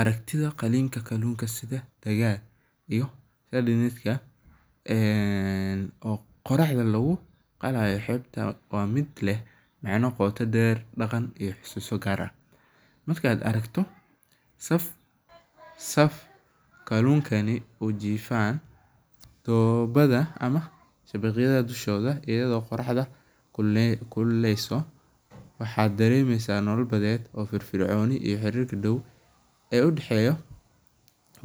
Aragtitha qalinka kalunka sethe aga iyoh hadetherga ee qoraxda lagu qalato xeebta, midlehbqooto dheer daqan iyo xososi kaar aah , markat aragtoh saff kalunkani oo jeedoh oo jeefaan doobtha mah shabaqyada dushoodah eyado qoraxda kululeyneysoh waxa dareemeysah nolol bathet oo firifrcon, iyo xarir Dow oo u daxeeyoh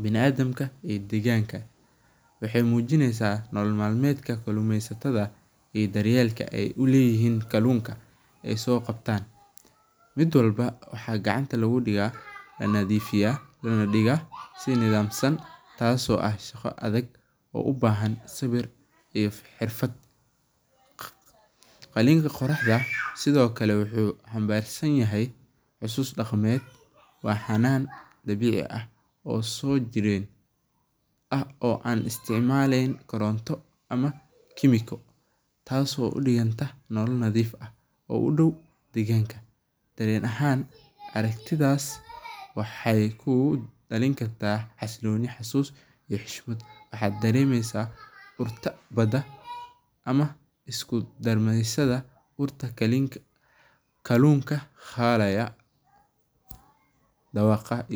biniaadamka iyo deganka, waxay mujineysah nolol malmeetka midka kalumeysataha iyo daryalka ay u leeyahon kalunka ee soqabtan, midwalba waxa kacanta lagu degaha nathifayah lona degaha si nathamsan taaso shaqa atheg u bahan sewir iyo xeerfatha , kalunka qoraxda sethokali waxu xambarsanyahay xusus daqameet waxanan dabecika ah, oo sojeeran aah oo an isticmalyenin koronto amah chemical taaso udegantah nolo natheef aah oo u Dow deganka ee ahaan aragtithasi waxay kudalinkartah xasuloni xasus iyo xushmat waxdareemeysah urta baada amah iskudarmeysatha horta kalunka xaraya dawaqa iyo.